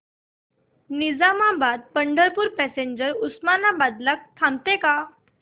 Nizamabad Pandharpur passenger Osmanabad ला थांबते का